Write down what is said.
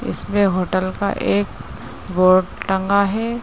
इसमें होटल का एक बोर्ड टंगा हैं।